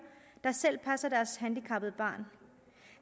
der selv passer deres handicappede barn